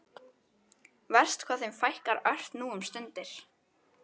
Verst hvað þeim fækkar ört nú um stundir.